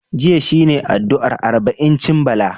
Jiya shi ne addu'ar arba'incin Bala.